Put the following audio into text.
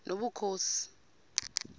nobukhosi